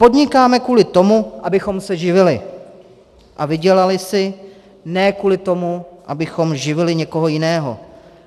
Podnikáme kvůli tomu, abychom se živili a vydělali si, ne kvůli tomu, abychom živili někoho jiného.